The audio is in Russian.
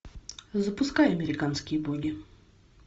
запускай американские боги